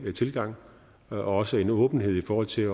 tilgang og også en åbenhed i forhold til at